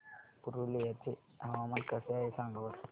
पुरुलिया चे हवामान कसे आहे सांगा बरं